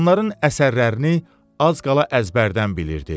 Onların əsərlərini az qala əzbərdən bilirdi.